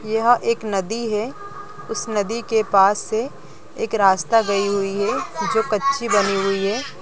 यह एक नदी है उस नदी के पास से एक रास्ता गई है जो कच्ची बनी हुई है|